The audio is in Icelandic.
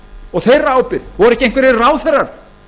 og þeirra ábyrgð voru ekki einhverjir ráðherrar